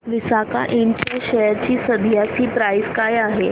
Visaka Ind च्या share ची सध्याची प्राइस काय आहे